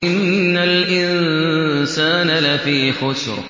إِنَّ الْإِنسَانَ لَفِي خُسْرٍ